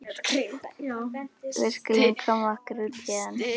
Við skulum koma okkur út héðan.